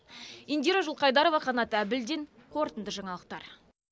индира жылқайдарова қанат әбілдин қорытынды жаңалықтар